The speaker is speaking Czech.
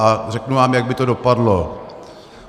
A řeknu vám, jak by to dopadlo.